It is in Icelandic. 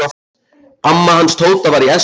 Amma hans Tóta var í essinu sínu.